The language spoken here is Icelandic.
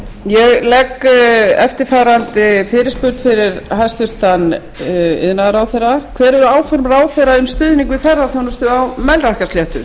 ég legg eftirfarandi fyrirspurn fyrir hæstvirtur iðnaðarráðherra hver eru áform ráðherra um stuðning við ferðaþjónustu á melrakkasléttu